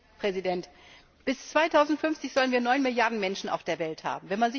Herr Präsident! Bis 2050 sollen wir neun Milliarden Menschen auf der Welt haben.